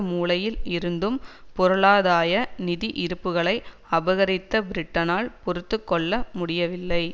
மூலையில் இருந்தும் பொருளாதாய நிதி இருப்புக்களை அபகரித்த பிரிட்டனால் பொறுத்து கொள்ள முடியவில்லை